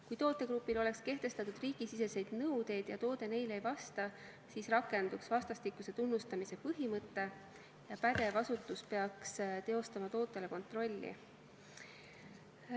Kui tootegrupile oleks kehtestatud riigisiseseid nõudeid ja toode neile ei vastaks, siis rakenduks vastastikuse tunnustamise põhimõte ja pädev asutus peaks teostama tootele kontrolli.